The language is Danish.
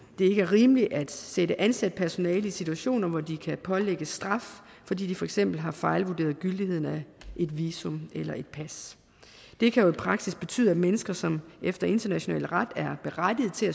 er rimeligt at sætte ansat personale i situationer hvor de kan pålægges straf fordi de for eksempel har fejlvurderet gyldigheden af et visum eller et pas det kan i praksis betyde at mennesker som efter international ret er berettiget til